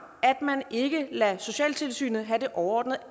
at man ikke lader socialtilsynet have det overordnede